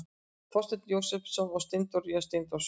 Þorsteinn Jósepsson og Steindór Steindórsson.